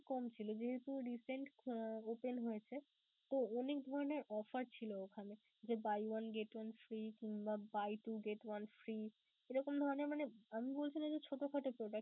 কম ছিলো যেহেতু recent open হয়েছে তো অনেক ধরণের offer ছিলো ওখানে. যে buy one get one free কিংবা buy two get one free এরকম ধরণের মানে আমি বলছি না যে ছোট খাটো product